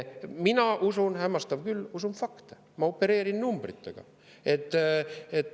Mina usun, hämmastav küll, fakte, ma opereerin numbritega.